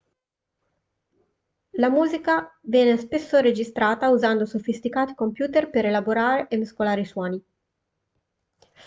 la musica viene spesso registrata usando sofisticati computer per elaborare e mescolare i suoni